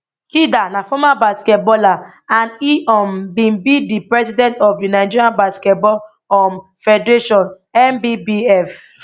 kida na former basketballer and e um bin be di president of di nigerian basketball um federationnbbf